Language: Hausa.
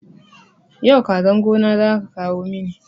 Yau kazan gona zaka kawo mini